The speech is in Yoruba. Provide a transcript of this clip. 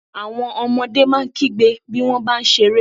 Àwọn ọmọdé máa ń kígbe bí wọ́n bá ń ṣeré.